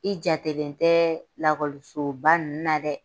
I jatelen tɛ lakɔlisoba ninnu na dɛ